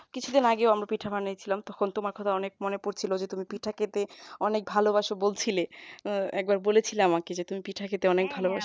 কিছুদিন আগেই অন্য পিঠা বানায়েছিলাম তখন তোমার কথা অনেক মনে পড়ছিল যে তুমি পিঠা খেতে অনেক ভালোবাসো বলছিলে একবার বলেছিলে আমাকে যে তুমি পিঠা খেতে অনেক ভালোবাসো